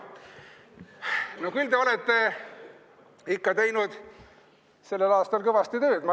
No küll te olete ikka teinud sellel aastal kõvasti tööd.